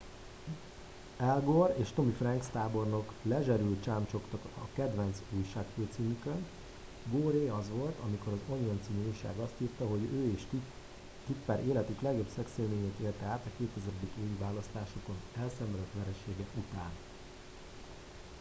al gore és tommy franks tábornok lezserül csámcsogtak a kedvenc újságfőcímükön goré az volt amikor az onion c. újság azt írta hogy ő és tipper életük legjobb szexélményét élte át a 2000. évi választásokon elszenvedett veresége után